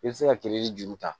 I bɛ se ka kile ni juru ta